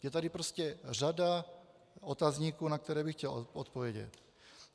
Je tady prostě řada otazníků, na které bych chtěl odpovědět.